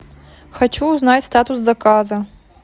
хочу узнать статус заказа